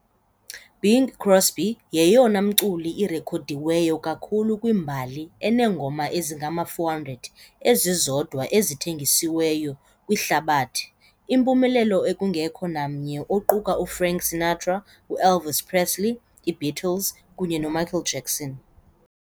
-Bing Crosby yeyona mculi irekhodiweyo kakhulu kwimbali eneengoma ezingama-400 ezizodwa ezithengisiweyo kwihlabathi, impumelelo ekungekho namnye oquka uFrank Sinatra, u- Elvis Presley, i -Beatles, kunye noMichael Jackson .